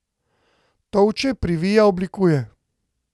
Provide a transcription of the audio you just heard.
Tolče, privija, oblikuje.